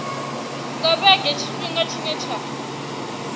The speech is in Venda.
nga vhege tshifhinga tshine tsha